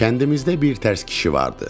Kəndimizdə birtərs kişi vardır.